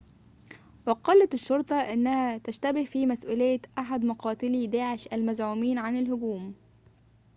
وقالت الشرطة إنها تشتبه في مسؤولية أحد مقاتلي داعش المزعومين عن الهجوم